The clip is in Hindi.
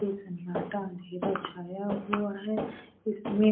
सनाटा अधेरा छाया हुआ है उसमें ची--